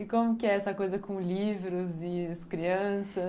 E como que é essa coisa com livros e as crianças?